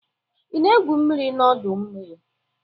Ị na-egwu mmiri n'ọdọ mmiri?